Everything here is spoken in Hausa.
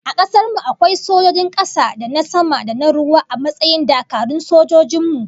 A kasar mu akwai sojojin kasa, da na sama da na ruwa a matsayin dakarun sojin mu